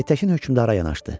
Aytəkin hökmdara yanaşdı.